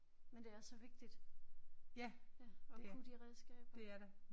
Men det er så vigtigt ja at kunne de redskaber